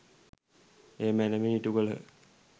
එය මැනවින් ඉටුකළ